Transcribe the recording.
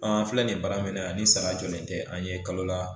An filɛ nin ye baara min na ni sara jɔlen t'an ye kalo la